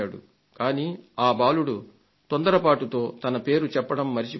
కానీ ఆ బాలుడు తొందరపాటుతో తన పేరు చెప్పడం మరచిపోయాడు